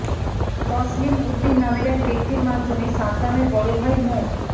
তসলিম উদ্দিন নামের এক ব্যক্তির মাধ্যমে সাদ্দামের বড় ভাই মো